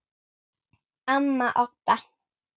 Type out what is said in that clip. Amma Odda.